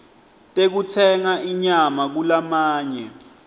tekutsenga inyama kulamanye